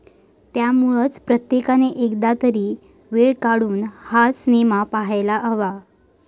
त्यामुळंच प्रत्येकानं एकदा तरी वेळ काढून हा सिनेमा पाहायला हवा.